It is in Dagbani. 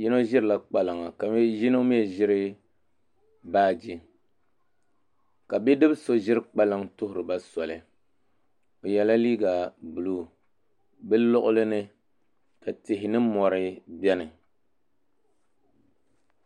yino ʒirila kpalaŋa ka yino mii ʒiri baaji ka bidib so ʒiri kpalaŋ tuhuriba soli o yɛla liiga buluu bi luɣuli ni ka tihi ni mori biɛni